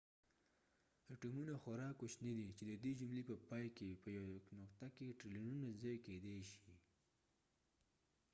اټومونه خورا کوچني دي چې د دې جملې په پای کې په يوې نقطه کې ټریلیونونه ځای کيدې شي